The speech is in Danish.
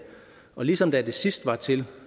ligesom da det sidst var til